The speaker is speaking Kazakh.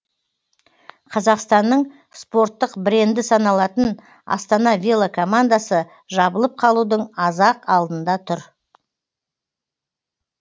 қазақстанның спорттық бренді саналатын астана велокомандасы жабылып қалудың аз ақ алдында тұр